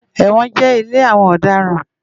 Ewòn jè ilé áwòn òdarán